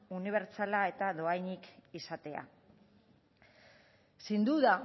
unibertsala eta dohainik izatea sin duda